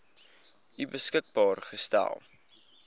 u beskikbaar gestel